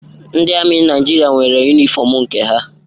Ndị amị Naịjirịa nwere yunifọmụ nke ha.